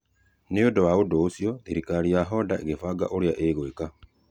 Nĩ ũndũ wa ũndũ ũcio, thirikari ya Honder ĩkĩbanga ũrĩa ĩgwĩka.